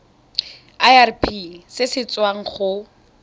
irp se se tswang go